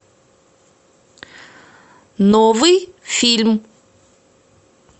новый фильм